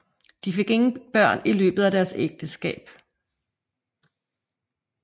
De fik ingen børn i løbet af deres ægteskab